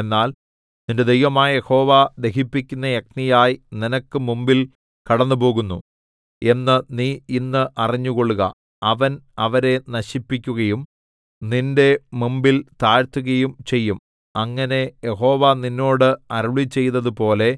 എന്നാൽ നിന്റെ ദൈവമായ യഹോവ ദഹിപ്പിക്കുന്ന അഗ്നിയായി നിനക്ക് മുമ്പിൽ കടന്നുപോകുന്നു എന്ന് നീ ഇന്ന് അറിഞ്ഞുകൊള്ളുക അവൻ അവരെ നശിപ്പിക്കുകയും നിന്റെ മുമ്പിൽ താഴ്ത്തുകയും ചെയ്യും അങ്ങനെ യഹോവ നിന്നോട് അരുളിച്ചെയ്തതുപോലെ